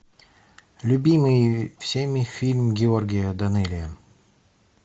любимый всеми фильм георгия данелия